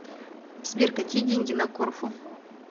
сбер какие деньги на корфу